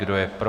Kdo je pro?